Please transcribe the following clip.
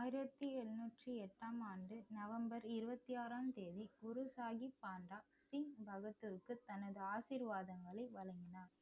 ஆயிரத்தி எழுநூற்றி எட்டாம் ஆண்டு நவம்பர் இருபத்தி ஆறாம் தேதி குரு சாஹிப் பாண்ட சிங் பகதூருக்கு தனது ஆசீர்வாதங்களை வழங்கினார்